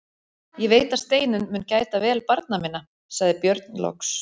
Ég veit að Steinunn mun gæta vel barna minna, sagði Björn loks.